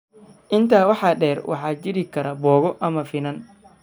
Intaa waxaa dheer, waxaa jiri kara boogo ama finan.